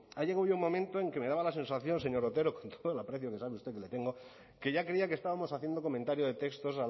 ha llegado ya un momento en el que me daba la sensación señor otero con todo el aprecio que sabe usted que le tengo que ya creía que estábamos haciendo comentario de textos